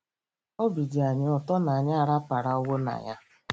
Obi dị anyị ụtọ na anyị araparawo na ya